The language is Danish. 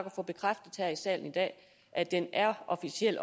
at få bekræftet her i salen i dag at den officielt